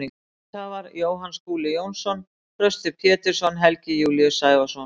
Vinningshafar: Jóhann Skúli Jónsson Þröstur Pétursson Helgi Júlíus Sævarsson